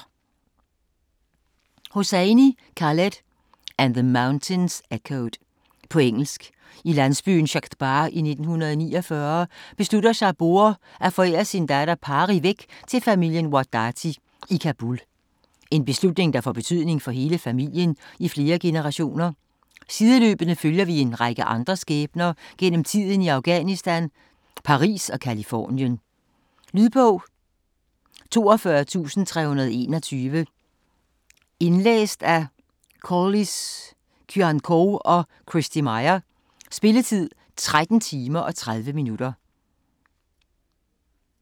Hosseini, Khaled: And the mountains echoed På engelsk. I landsbyen Shadbagh i 1949 beslutter Saboor at forære sin datter Pari væk til familien Wahdati i Kabul. En beslutning der får betydning for hele familien i flere generationer. Sideløbende følger vi en række andre skæbner gennem tiden i Afghanistan, Paris og Californien. Lydbog 42321 Indlæst af Koullis Kyriacou og Christy Meyer Spilletid: 13 timer, 30 minutter.